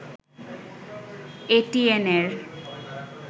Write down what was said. এটিএন-এর